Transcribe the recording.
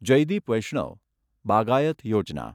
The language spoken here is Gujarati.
જયદિપ વૈષ્ણવ બાગાયત યોજના